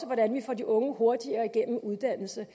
hvordan vi får de unge hurtigere igennem uddannelse